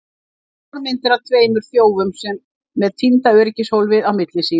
Þrjár myndir af tveimur þjófum með týnda öryggishólfið á milli sín!